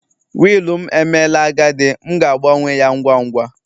Willu m emela agadi, m ga-agbanwe ya ngwa ngwa